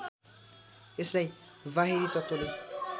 यसलाई बाहिरी तत्त्वले